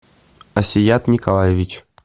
асият николаевич